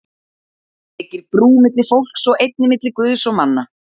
Það byggir brú milli fólks og einnig milli Guðs og manna.